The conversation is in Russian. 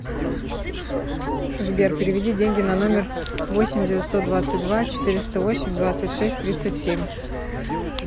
сбер переведи деньги на номер восемь девятьсот двадцать два четыреста восемь двадцать шесть тридцать семь